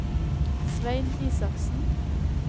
Svein Isaksen